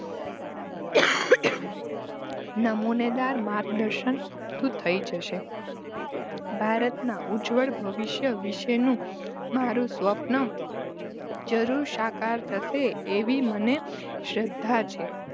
નમૂનેદાર માર્ગદર્શન આપતું થઈ જશે. ભારતના ઉજ્વળ ભવિષ્ય વિશેનું મારુ સ્વપ્ન જરૂર સાકાર થશે એવી મને શ્રદ્ધા છે.